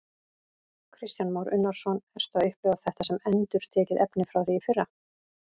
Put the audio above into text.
Kristján Már Unnarsson: Ertu að upplifa þetta sem endurtekið efni frá því í fyrra?